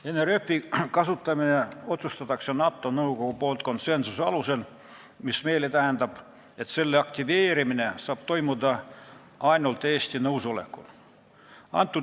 NRF-i kasutamise otsustab NATO nõukogu konsensuse alusel, mis tähendab, et selle aktiveerimine saab toimuda ainult Eesti nõusolekul.